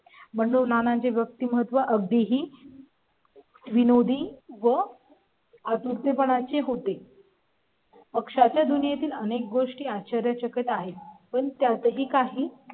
पण नानांची व्यक्तिमत्त्व अगदी ही. विनोदी व. आतुरते पणाची होते . पक्षाच्या दुनिये तील अनेक गोष्टी आश्चर्य चकीत आहेत पण त्यातही काही